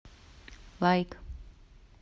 лайк